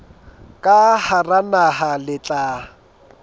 ka hara naha le tla